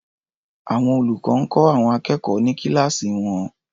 Àwọn olùkọ́ ń kọ́ àwọn akẹ́kọ̀ọ́ ní kíláàsì wọn.